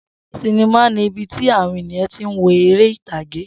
Sinimá ni ibi tí àwọn ènìyàn tí ń wo eré ìtàgé